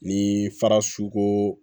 Ni fara sukoro